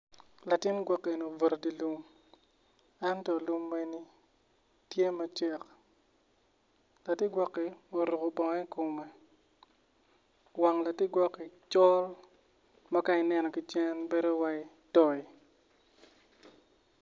Latin gwok eni obuto i dye lum ento lum eni tye macek latin gwok eni oruko bongo i kome wang latin gwok eni col ma ka ineno ki cen bedo wayi toi.